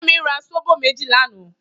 Femi rà sóbó méji lànã